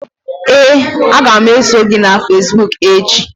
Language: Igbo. Ee, a ga m eso gị na facebook echi.